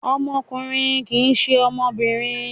Ọmọkùnrin kì í ṣe ọmọbìnrin.